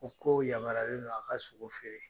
K'o yamaruyalen non, a ka sogo feere